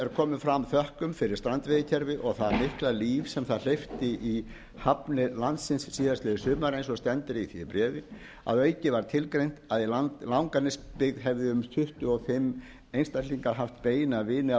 er komið fram þökkum fyrir strandveiðikerfið og það litla líf sem það hleypti í hafnir landsins síðastliðið sumar eins og stendur í því bréfi að auki var tilgreint að í langanesbyggð hefði um tuttugu og fimm einstaklingar haft beina vini f